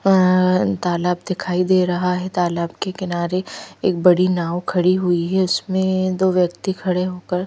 अ तालाब दिखाई दे रहा है तालाब के किनारे एक बड़ी नाव खड़ी हुई है उसमें दो व्यक्ति खड़े होकर--